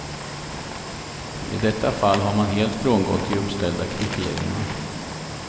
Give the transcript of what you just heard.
I detta fall har man helt frångått de uppställda kriterierna.